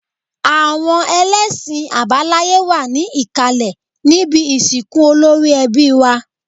Àwọn ẹlẹ́ṣin àbáláye wà ní ìkàlẹ̀ níbi ìsìnkú olórí ẹbí wá